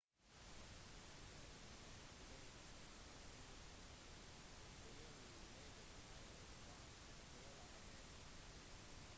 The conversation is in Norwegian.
måltidet hangi blir laget i et varmt hull i bakken